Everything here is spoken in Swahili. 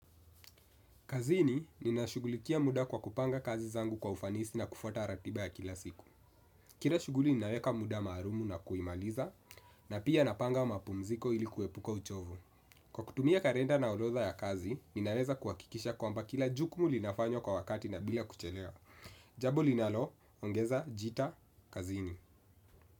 Kazini, ninashugulikia muda kwa kupanga kazi zangu kwa ufanisi na kufuata ratiba ya kila siku. Kila shuguli, ninaweka muda maalumu na kuimaliza, na pia napanga mapumziko ili kuepuka uchovu. Kwa kutumia kalenda na orodha ya kazi, ninaweza kuhakikisha kwamba kila jukumu linafanywa kwa wakati na bila kuchelewa. Jambo linaloongeza, jita, kazini.